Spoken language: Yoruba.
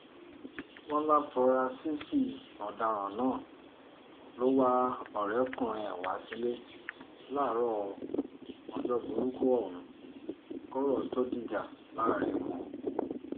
wọ́n láforasísì ọ̀daràn náà ló wá ọ̀rẹ́kùnrin ẹ̀ wá sílẹ̀ láàárọ̀ ọjọ́ burúkú ohun kọ́rọ̀ tóó dìjà láàrin wọn